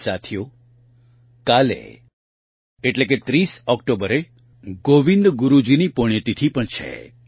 સાથીઓ કાલે એટલે કે ૩૦ ઓકટોબરે ગોવિંદ ગુરૂજીની પુણ્યતિથિ પણ છે